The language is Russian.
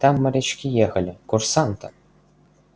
там морячки ехали курсанты